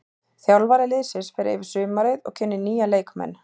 Þjálfari liðsins fer yfir sumarið og kynnir nýja leikmenn.